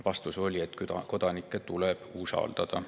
Vastus oli, et kodanikke tuleb usaldada.